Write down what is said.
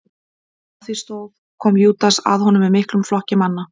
meðan á því stóð kom júdas að honum með miklum flokki manna